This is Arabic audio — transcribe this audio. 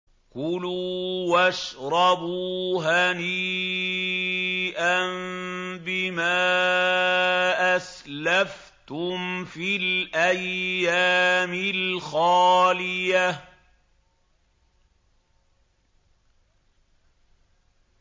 كُلُوا وَاشْرَبُوا هَنِيئًا بِمَا أَسْلَفْتُمْ فِي الْأَيَّامِ الْخَالِيَةِ